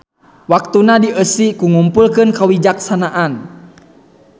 Waktuna dieusi ku ngumpulkeun kawijaksanaan.